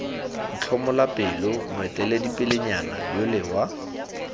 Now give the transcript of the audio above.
ntlhomola pelo moeteledipelenyana yole wa